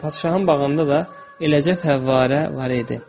Bəli, padşahın bağında da eləcə fəvvarə var idi.